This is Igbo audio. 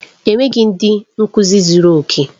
Enweghị ndị nkuzi zuru oke.